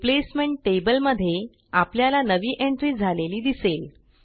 replacement table मध्ये आपल्याला नवी एंट्री झालेली दिसेल